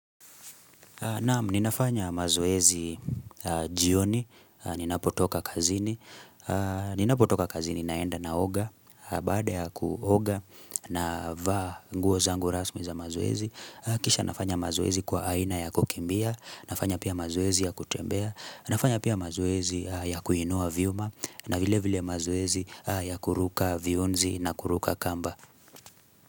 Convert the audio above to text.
Naam, ninafanya mazoezi jioni, ninapotoka kazini, ninapotoka kazini naenda naoga, baada ya kuoga navaa nguo zangu rasmi za mazoezi, kisha nafanya mazoezi kwa aina ya kukimbia, nafanya pia mazoezi ya kutembea, nafanya pia mazoezi ya kuinua vyuma, na vile vile mazoezi ya kuruka viunzi na kuruka kamba.